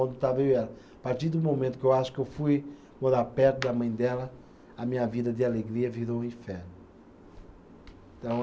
Quando estava eu e ela, a partir do momento que eu acho que eu fui morar perto da mãe dela, a minha vida de alegria virou um inferno. Então